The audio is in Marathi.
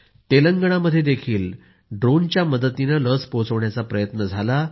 तेलंगणामध्ये ड्रोनच्या मदतीने लस पोहोचवली गेली